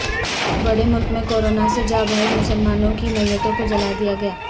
بڑے ملک میں کورونا سے جاں بحق مسلمانوں کی میتوں کو جلادیا گیا